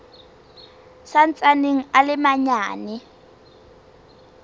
sa ntsaneng a le manyane